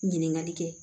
Ɲininkali kɛ